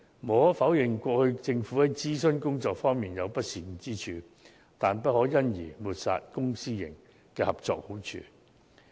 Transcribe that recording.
無可否認，政府過去在諮詢工作方面確有不善之處，但亦不可因而抹煞公私營合作的好處。